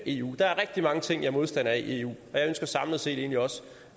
eu der er rigtig mange ting jeg er modstander af i eu og jeg ønsker samlet set egentlig også